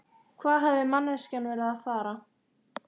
Hvað hafði manneskjan verið að fara?